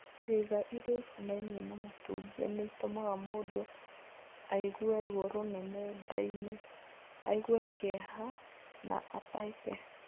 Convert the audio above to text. Ciĩga iria ikonainie na matumbi nĩ itũmaga mũndũ aigue ruo rũnene nda-inĩ, aigue kĩeha, na ataheke.